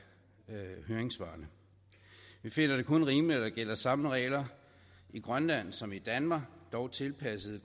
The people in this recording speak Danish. høringssvarene vi finder det kun rimeligt at der gælder samme regler i grønland som i danmark dog tilpasset